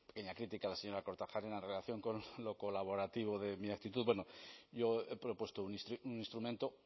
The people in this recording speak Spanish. pequeña crítica la señora kortajarena en la relación con lo colaborativo de mi actitud bueno yo he propuesto un instrumento